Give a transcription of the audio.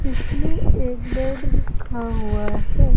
जिसमें एक बेड रखा हुआ है।